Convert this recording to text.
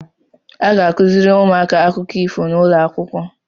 A ga-akụzịrị ụmụaka akụkọ ifo n’ụlọakwụkwọ